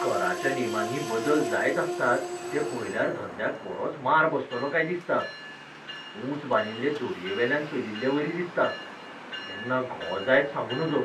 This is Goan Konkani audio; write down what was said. कराच्या नेमांनी बदल जायत आसतात ते पळयल्यार धंद्याक बरोच मार बसतलो काय दिसता. ऊंच बांदिल्ले दोरयेवेल्यान चलिल्लेवरी दिसता. केन्ना घो जायत सांगू नजो.